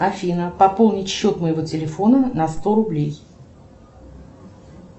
афина пополнить счет моего телефона на сто рублей